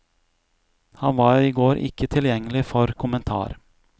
Han var i går ikke tilgjengelig for kommentar.